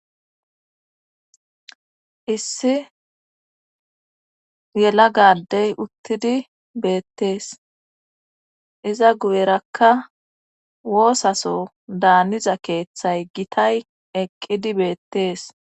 issi yelaga adey uttidi beettees iza guyerakka woosaso daaniza keeththay gitay eqqidi beettees